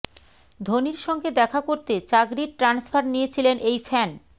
ধোনির সঙ্গে দেখা করতে চাকরির ট্রান্সফার নিয়েছিলেন এই ফ্যান